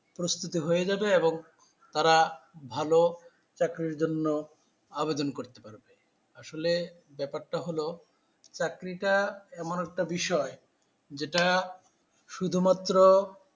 প্রস্তুতি হয় যাবে এবং তারা ভালো চাকরির জন্য আবেদন করতে পারবে। আসলে ব্যাপারটা হলো চাকরিটা এমন একটা বিষয় যেটা শুধুমাত্র